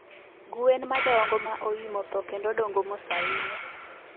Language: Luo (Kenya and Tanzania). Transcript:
Gwen madongo ma oimo tho kendo dongo mos ainya.